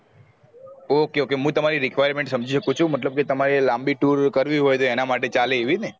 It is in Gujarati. okay okay હું તમારી requirement સમજી સકું છુ મતલબ કે તમારી લાંબી tour કરવી હોય તો એના માટે ચાલે એવી ને